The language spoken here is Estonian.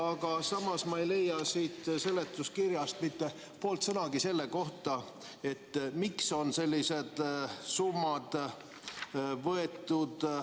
Aga samas ma ei leia siit seletuskirjast mitte poolt sõnagi selle kohta, miks on sellised summad võetud.